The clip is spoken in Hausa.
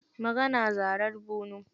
Magana, zarar bunu.